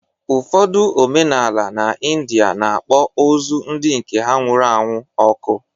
Ụfọdụ omenala n’India na-akpọ ozu ndị nke ha nwụrụ anwụ ọkụ